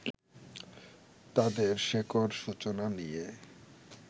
তাঁদের শেকড় সূচনা নিয়ে